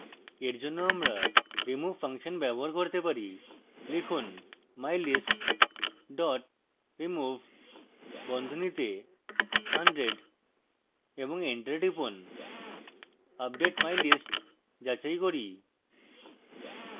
for জন্য আমরা remove function ব্যবহার করতে পারি লিখুন mylist dot remove বন্ধনীতে hundred এবং enter টিপুন আপডেট mylist যাচাই করি